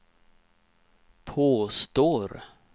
påstår